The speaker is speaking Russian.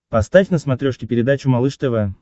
поставь на смотрешке передачу малыш тв